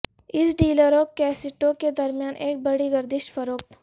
اس ڈیلروں کیسٹوں کے درمیان ایک بڑی گردش فروخت